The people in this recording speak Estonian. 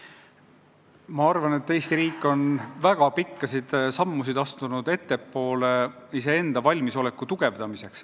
Ma arvan, et Eesti riik on väga pikkade sammudega edasi astunud, et valmisolekut tugevdada.